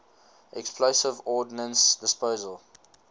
explosive ordnance disposal